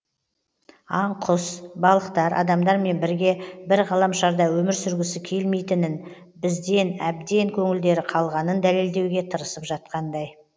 аң құс балықтар адамдармен бірге бір ғаламшарда өмір сүргісі келмейтінін бізден әбден көңілдері қалғанын дәлелдеуге тырысып жатқандай